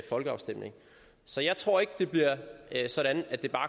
folkeafstemning så jeg tror ikke det bliver sådan at det bare